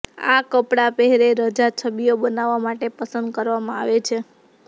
આ કપડાં પહેરે રજા છબીઓ બનાવવા માટે પસંદ કરવામાં આવે છે